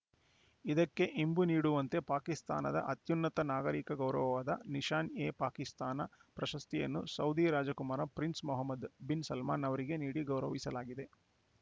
ಇದಕ್ಕೆ ಇಂಬು ನೀಡುವಂತೆ ಪಾಕಿಸ್ತಾನದ ಅತ್ಯುನ್ನತ ನಾಗರಿಕ ಗೌರವವಾದ ನಿಶಾನ್‌ಎಪಾಕಿಸ್ತಾನ ಪ್ರಶಸ್ತಿಯನ್ನು ಸೌದಿ ರಾಜಕುಮಾರ ಪ್ರಿನ್ಸ್‌ ಮೊಹಮ್ಮದ್‌ ಬಿನ್‌ ಸಲ್ಮಾನ್‌ ಅವರಿಗೆ ನೀಡಿ ಗೌರವಿಸಲಾಗಿದೆ